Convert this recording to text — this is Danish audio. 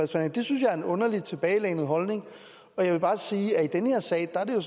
sig det synes jeg er en underlig tilbagelænet holdning og jeg vil bare sige at i den her sag er det